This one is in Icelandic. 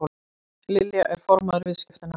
Lilja er formaður viðskiptanefndar